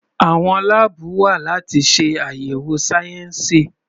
Àwọn láàbù wa láti ṣe àyẹ̀wò sáyẹnsì.